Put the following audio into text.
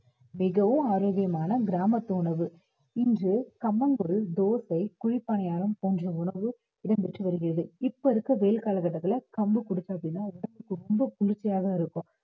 மிகவும் ஆரோக்கியமான கிராமத்து உணவு இன்று கம்மங்கூழ், தோசை, குழிப்பணியாரம் போன்ற உணவு இடம் பெற்று வருகிறது இப்ப இருக்க வெயில் காலகட்டத்துல கம்பு கொடுத்தோம் அப்படின்னா உடம்புக்கு ரொம்ப குளிர்ச்சியா தான் இருக்கும்